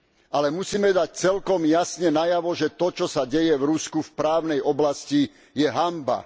Ale musíme dať celkom jasne najavo, že to, čo sa deje v Rusku v právnej oblasti, je hanba.